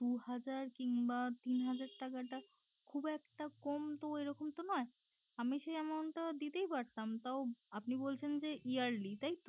দু হাজার কিংবা তিন হাজার টাকা টা খুব একটা কম তো এরকম তো নয় আমি সেই amount টা দিতেই পারতাম তাও আপনি বলছেন যে yearly তাই